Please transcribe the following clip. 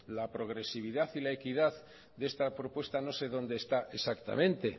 la progresividad y la equidad de esta propuesta no sé dónde está exactamente